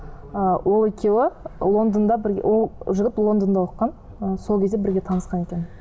ы ол екеуі лондонда бірге ол жігіт лондонда оқыған ы сол кезде бірге танысқан екен